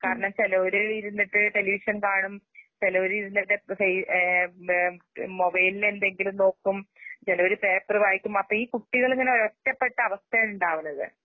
കാരണവച്ചാല് ഒരേഇരുന്നിട്ട്ടെലിവിഷൻകാണും ചിലവര്ഇരുന്നിട്ട് ചെയ് ഏം മേം മൊബൈലിലെന്തെങ്കിലുംനോക്കും ചിലവര്പേപ്പറുവായിക്കും അപ്പഈകുട്ടികളിങ്ങനെ ഒരൊറ്റപ്പെട്ടഅവസ്ഥയുണ്ടാവുന്നത്.